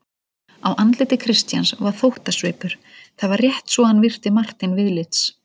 Á andliti Christians var þóttasvipur: það var rétt svo hann virti Martein viðlits.